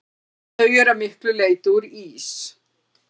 Þau eru að miklu leyti úr ís.